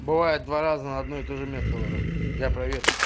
бывает два раза на одно и тоже место ложат я проверю